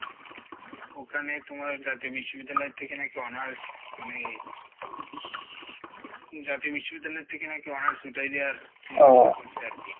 ওখানে তুমার বিশ্ববিদ্যালয় থেকে নাকি honors মানে স জাতীয় বিশ্ববিদ্যালয় থেকে নাকি honors উঠাই দেওয়ার চিন্তাভাবনা করসে আরকি,